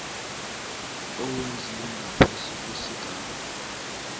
owenziwe ngaphasi kwesigaba